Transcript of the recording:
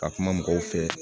Ka kuma mɔgɔw fɛ